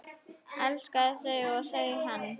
Elskaði þau og þau hann.